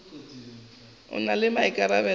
a na le maikarabelo ka